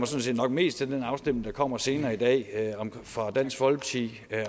set nok mest til den afstemning der kommer senere i dag om fra dansk folkeparti